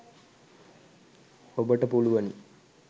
ඔබට පුලුවනි